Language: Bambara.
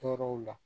Tɔɔrɔw la